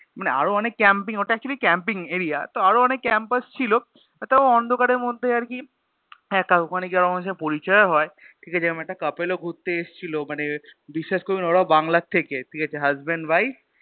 মানে আরো অনেক Camping ওটা Actually camping area তো আরো অনেক Campers ছিল তো অন্ধকারের মধ্যে আরকি একা ওখানে গিয়ে অনেকের সাথে পরিচয়ও হয় ঠিক আছে এরম একটা Couple ও ঘুরতে এসছিল মানে বিশ্বাস করবিনা ওরাও বাংলার থেকে ঠিক আছে HusbandWife